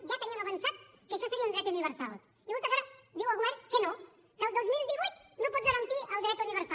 ja teníem avançat que això seria un dret universal i resulta que ara diu el govern que no que el dos mil divuit no pot garantir el dret universal